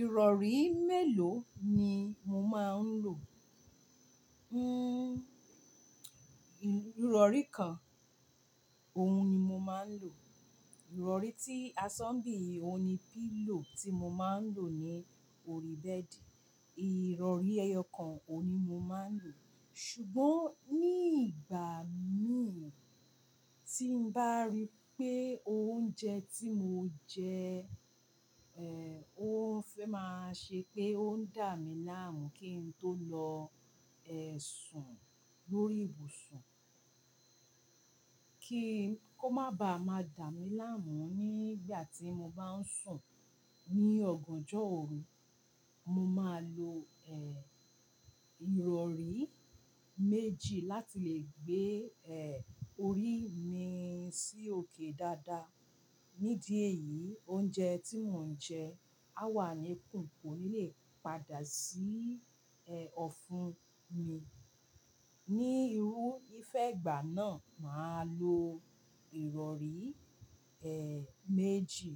Ìrọ̀rí mélòó ni mo máa ń lò? Hmm, ìrọ̀rí kan, òun ni mo máa ń lò. Ìrọ̀rí tí a sọ́ bí i ohun pílò tí mo máa ń lò ní orí bẹ́ẹ̀dì, ìrọ̀rí ẹyọ kan òun ni mo máa ń lò. Ṣùgbọ́n ní ìgbà mí tí n bá rí pé oúnjẹ tí mo jẹ, eh, ó fẹ́ máa ṣe pé ó ń dà mí láàmú kí n tó lọ ẹ́ sùn lórí ìbùsùn. Kí kó má ba à máa dà mí láàmú nígbà tí mo bá ń sùn ní ọ̀gànjọ́ òru, mo máa lo, eh, ìrọ̀rí méjì láti lè gbé, eh, orí mi sí òkè dáadáa. Nídìí èyí, oúnjẹ tí mò ń jẹ á wà ní kùn, kò ní lè padà sí, eh, ọ̀fun mi. Ni irú ìfẹ́ ìgbà náà, màá lo ìrọ̀rí, eh, méjì.